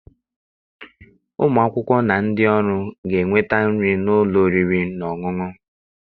Ụmụ akwụkwọ na ndị ọrụ ga-enweta nri n'ụlọ oriri na ọṅụṅụ.